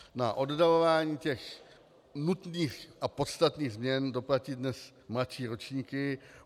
Na oddalování těch nutných a podstatných změn doplatí dnes mladší ročníky.